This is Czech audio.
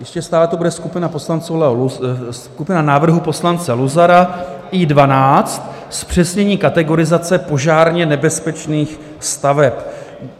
Ještě stále to bude skupina návrhů poslance Luzara I12, zpřesnění kategorizace požárně nebezpečných staveb.